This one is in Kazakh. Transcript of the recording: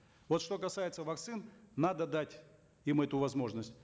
вот что касается вакцин надо дать им эту возможность